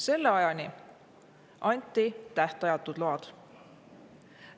Selle ajani anti tähtajatud load.